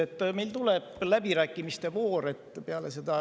Peale minu ettekannet tuleb läbirääkimiste voor.